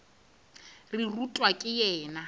re o rutwa ke yena